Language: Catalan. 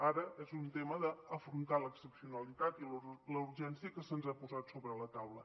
ara és un tema d’afrontar l’excepcionalitat i la urgència que se’ns ha posat sobre la taula